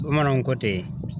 Bamananw ko ten.